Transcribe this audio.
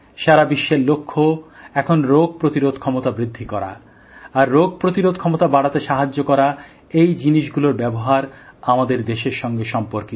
সারা বিশ্বের লক্ষ্য এখন রোগ প্রতিরোধ ক্ষমতা বৃদ্ধি করা আর রোগ প্রতিরোধ ক্ষমতা বাড়াতে সাহায্য করা এই জিনিসগুলোর ব্যবহার আমাদের দেশের সঙ্গে সম্পর্কিত